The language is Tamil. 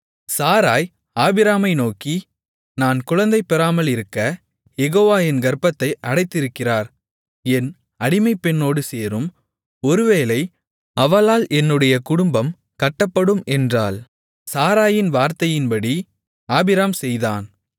சாராய் ஆபிராமை நோக்கி நான் குழந்தைபெறாமலிருக்கக் யெகோவா என் கர்ப்பத்தை அடைத்திருக்கிறார் என் அடிமைப்பெண்ணோடு சேரும் ஒருவேளை அவளால் என்னுடைய குடும்பம் கட்டப்படும் என்றாள் சாராயின் வார்த்தையின்படி ஆபிராம் செய்தான்